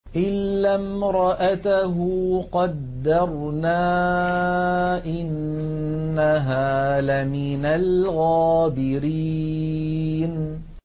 إِلَّا امْرَأَتَهُ قَدَّرْنَا ۙ إِنَّهَا لَمِنَ الْغَابِرِينَ